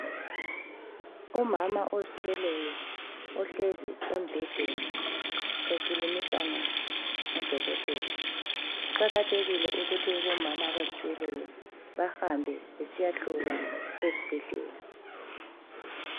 Umama ozithweleyo ohlezi embhedeni ekhulumisana lodokotela. Kuqakathekile ukuthi abomama abazithweleyo bahambe besiyahlolwa esibhedlela.